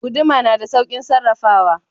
Guduma na da saukin sarrafawa.